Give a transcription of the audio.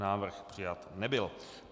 Návrh přijat nebyl.